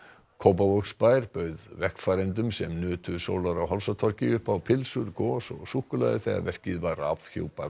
Kópavogsbær bauð vegfarendum sem nutu sólar á upp á pylsur gos og súkkulaði þegar var afhjúpað